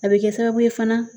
A bɛ kɛ sababu ye fana